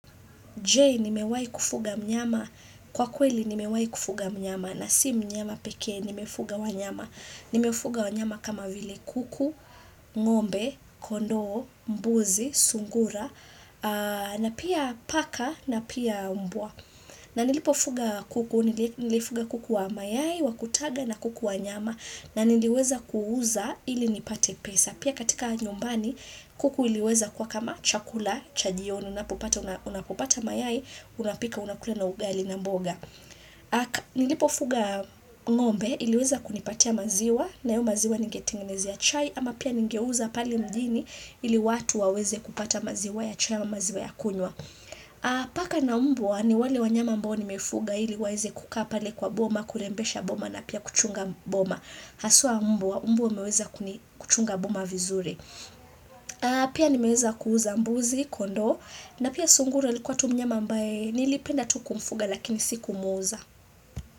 Je nimewai kufuga mnyama kwa kweli nimewahi kufuga mnyama na si mnyama pekee, nimefuga wanyama. Nimefuga wanyama kama vile kuku, ngombe, kondoo, mbuzi, sungura, na pia paka na pia mbwa. Na nilipofuga kuku, nilifuga kuku wa mayai, wakutaga na kuku wa nyama na niliweza kuuza ili nipate pesa. Pia katika nyumbani, kuku iliweza kwa kama chakula, cha jioni, unapopata mayai, unapika, unakule na ugali na mboga Nilipofuga ngombe, iliweza kunipatia maziwa, nayo maziwa nigetegenezea ya chai Ama pia nigeuza pale mjini, ili watu waweze kupata maziwa ya chai na maziwa ya kunwa Paka na mbwa, ni wale wanyama ambao nimefuga ili waweze kukaa pale kwa boma, kurembesha boma na pia kuchunga boma Haswa a mbwa wameweza kuchunga boma vizuri Pia nimeweza kuuza mbuzi kondoo na pia sungura likuwa tu mnyama ambaye nilipenda tu kumfuga lakini sikumuuza.